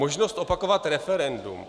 Možnost opakovat referendum.